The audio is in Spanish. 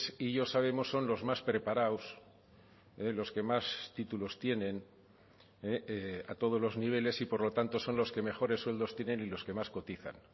y yo sabemos son los más preparados los que más títulos tienen a todos los niveles y por lo tanto son los que mejores sueldos tienen y los que más cotizan